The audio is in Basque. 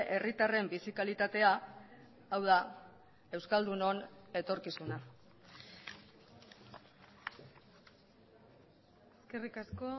herritarren bizi kalitatea hau da euskaldunon etorkizuna eskerrik asko